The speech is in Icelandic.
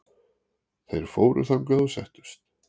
Þeir fóru þangað og settust.